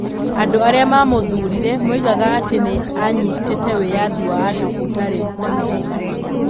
Andũ arĩa mamũthũire moigaga atĩ nĩ anyitĩte wĩyathi wa andũ ũtarĩ na mĩhaka.